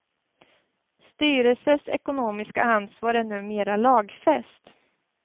Styrelsers ekonomiska ansvar är numera lagfäst.